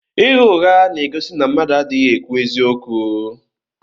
Ịgha ụgha na-egosi na mmadụ adịghị ekwu eziokwu.